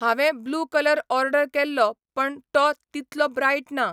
हांवें blue colour order केल्लो पण टो तितलो ब्रायट ना.